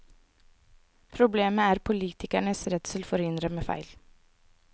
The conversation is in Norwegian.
Problemet er politikernes redsel for å innrømme feil.